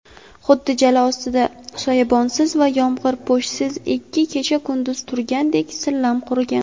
Xuddi jala ostida soyabonsiz va yomg‘irpo‘shsiz ikki kecha-kunduz turgandek sillam qurigan.